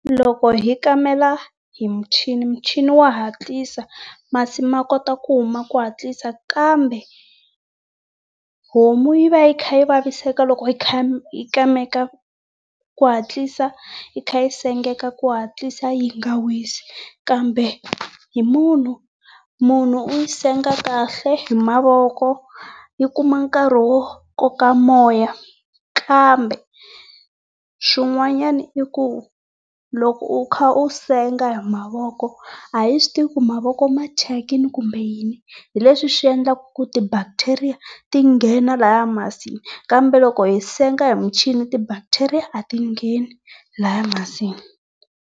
Loko hi kamela hi michini michini wa hatlisa. Masi ma kota ku huma ku hatlisa kambe homu yi va yi kha yi vaviseka loko yi kameka ku hatlisa yi tlhe yi sengeka ku hatlisa yi nga wisi. Kambe hi munhu, munhu u yi senga kahle, hi mavoko. Yi kuma nkarhi wo koka moya kambe swin'wanyana i ku loko u kha u senga hi mavoko a his wi tivi ku mavoko ma thyakile kumbe yini leswi swi endlaka ku ti bacteria ti nghena laya masini. Kambe loko hi senga hi michini ti bacteria a ti ngheni laya masini.